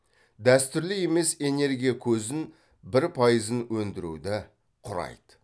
дәстүрлі емес энергия көзін бір пайызын өндіруді құрайды